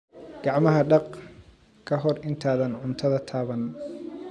Gacmaha dhaq ka hor intaadan cuntada taaban.